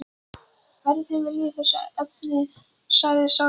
Verði þinn vilji í þessu efni sagði sá sem fór.